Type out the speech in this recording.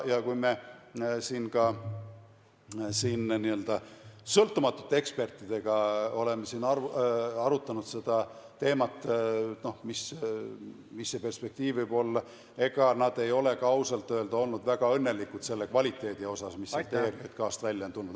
Ja kui me oleme siin ka n-ö sõltumatute ekspertidega arutanud seda teemat, mis see perspektiiv võib olla, siis ega nad ei ole ka ausalt öeldes olnud väga õnnelikud selle kvaliteedi üle, mis siit ERJK-st on välja tulnud.